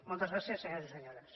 moltes gràcies senyors i senyores